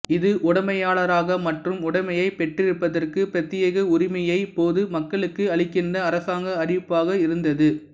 இது உடைமையாளராக மற்றும் உடைமையப் பெற்றிருப்பதற்கு பிரத்தியேக உரிமையை பொது மக்களுக்கு அளிக்கின்ற அரசாங்க அறிவிப்பாக இருந்தது